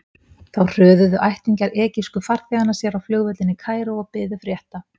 Þá hröðuðu ættingjar egypsku farþeganna sér á flugvöllinn í Kaíró og biðu frétta.